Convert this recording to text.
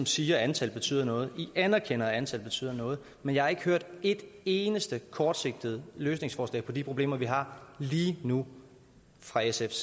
siger at antallet betyder noget i anerkender at antallet betyder noget men jeg har ikke hørt et eneste kortsigtet løsningsforslag på de problemer vi har lige nu fra sf